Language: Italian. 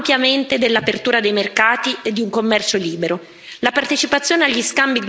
La Cina ha beneficiato ampiamente dell'apertura dei mercati e di un commercio libero.